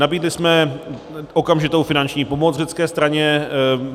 Nabídli jsme okamžitou finanční pomoc řecké straně.